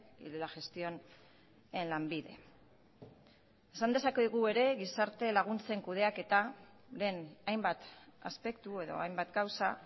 y de la gestión en lanbide esan dezakegu ere gizarte laguntzen kudeaketaren hainbat aspektu edo hainbat gauza